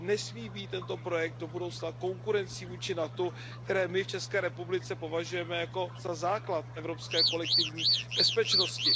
Tento projekt nesmí být do budoucna konkurencí vůči NATO, které my v České republice považujeme za základ evropské kolektivní bezpečnosti.